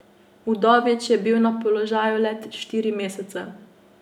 Udovič je bil na položaju le štiri mesece.